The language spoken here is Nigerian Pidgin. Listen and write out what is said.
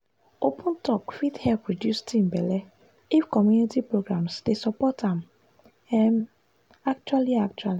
open talk fit help reduce teen belle if community programs dey support am um actually actually.